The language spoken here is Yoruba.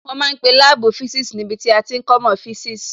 Wọ́n ma ń pe láàbù physics níbi tí a ti ń kọ́mọ́ physics